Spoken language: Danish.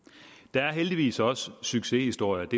der er heldigvis også succeshistorier og